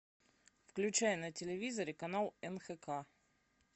включай на телевизоре канал нхк